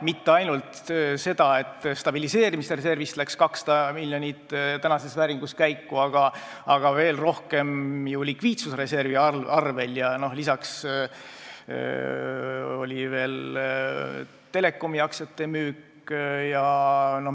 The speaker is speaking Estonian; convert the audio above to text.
Mitte ainult tänases vääringus 200 miljonit stabiliseerimisreservist ei läinud käiku, veel rohkem raha tuli likviidsusreservist, millele lisandus telekomi aktsiate müük.